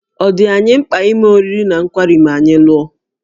Ọ̀ dị anyị mkpa ime oriri na nkwari ma anyị lụọ?